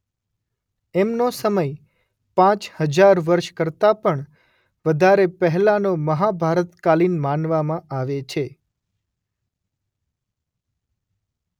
એમનો સમય પાંચ હજાર વર્ષ કરતાં પણ વધારે પહેલાંનો મહાભારતકાલીન માનવામાં આવે છે.